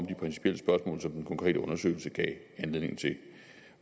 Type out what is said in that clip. principielle spørgsmål som den konkrete undersøgelse gav anledning til